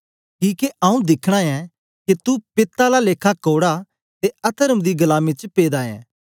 किके आंऊँ दिखना ऐ के तू पित्त आला लेखा कौड़ा ते अतर्म दी गलामी च पेदा ऐ